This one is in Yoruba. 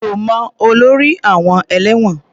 Mi ò mọ olórí àọn ẹ̀lẹ́wọ̀n.